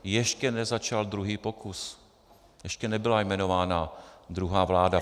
Ještě nezačal druhý pokus, ještě nebyla jmenována druhá vláda.